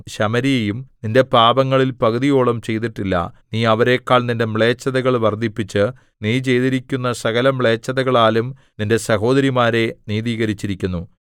ശമര്യയും നിന്റെ പാപങ്ങളിൽ പകുതിയോളം ചെയ്തിട്ടില്ല നീ അവരെക്കാൾ നിന്റെ മ്ലേച്ഛതകൾ വർദ്ധിപ്പിച്ച് നീ ചെയ്തിരിക്കുന്ന സകലമ്ലേച്ഛതകളാലും നിന്റെ സഹോദരിമാരെ നീതീകരിച്ചിരിക്കുന്നു